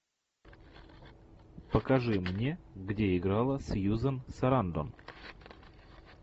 покажи мне где играла сьюзен сарандон